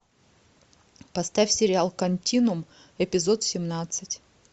поставь сериал континуум эпизод семнадцать